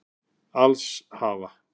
Alls hafa